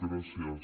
gràcies